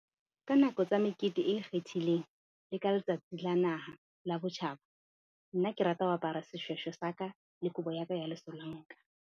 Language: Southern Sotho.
Ka nako tsa mekete e ikgethileng le ka letsatsi la naha la botjhaba. Nna ke rata ho apara seshweshwe sa ka, le kobo ya ka ya lesolanka.